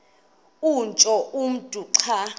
utsho umntu xa